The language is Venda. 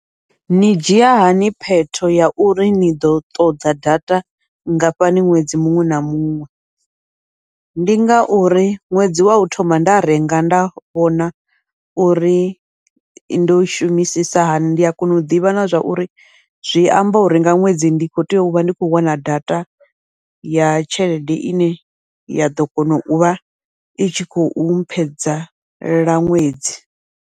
Ni dzhia hani phetho ya uri ni ḓo ṱoḓa data nngafhani ṅwedzi muṅwe na muṅwe, ndi ngauri ṅwedzi wau thoma nda renga nda vhona uri ndo shumisisa hani, ndi a kona u ḓivha na zwa uri zwi amba uri nga ṅwedzi ndi kho tea uvha ndi khou wana data ya tshelede ine ya ḓo kona uvha i tshi khou mphedzela ṅwedzi.